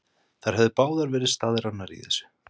Þær höfðu báðar verið staðráðnar í þessu.